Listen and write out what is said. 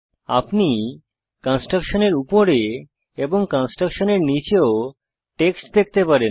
আপনি কনস্ট্রাক্টশনের উপরে এবং কনস্ট্রাক্টশনের নীচেও টেক্সট দেখতে পারেন